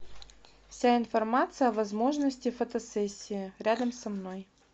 вся информация о возможности фотосессии рядом со мной